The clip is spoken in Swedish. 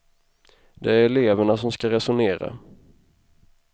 Det är eleverna som ska resonera.